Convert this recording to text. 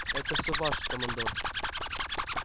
это всё ваше командор